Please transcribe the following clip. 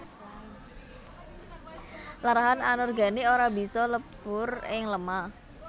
Larahan anorganik ora bisa lebur ing lemah